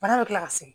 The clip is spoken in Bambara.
Bana bɛ kila ka segin